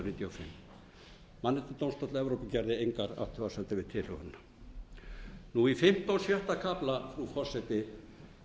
hundruð níutíu og fimm mannréttindadómstóll evrópu gerði engar athugasemdir við tilhögunina í fimmta og sjötta kafla frú forseti